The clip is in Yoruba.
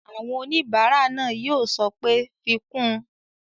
Àwọn oníbàárà náà yóò sọ pé "fi kún un!"